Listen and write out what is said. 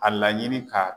A laɲini k'a